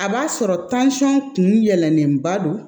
A b'a sɔrɔ kun yɛlɛnnenba don